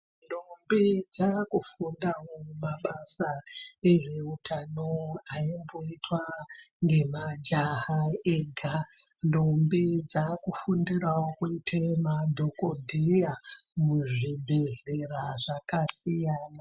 Ndombi dzaakufundawo mabasa ezveutano aimboitwa ngemajaha ega, ndombi dzaakufundirawo kuite madhokodheya muzvibhehlera zvakasiyana....